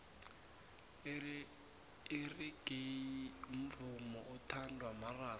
irigeyi umvumo othandwa marasta